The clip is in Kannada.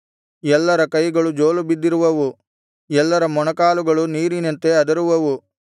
ಎಲ್ಲರ ಕೈಗಳು ಜೋಲುಬಿದ್ದಿರುವುವು ಎಲ್ಲರ ಮೊಣಕಾಲುಗಳು ನೀರಿನಂತೆ ಅದರುವುವು